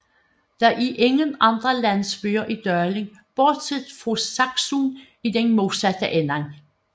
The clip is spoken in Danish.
Det er ingen andre landsbyer i dalen bortset fra Saksun i den modsatte ende